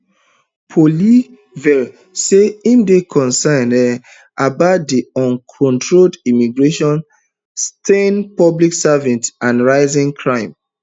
poilievre say im dey concerned um about di uncontrolled immigration strained public services and rising crime um